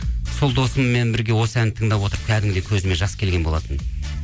сол досыммен бірге осы әнді тыңдап отырып кәдімгідей көзіме жас келген болатын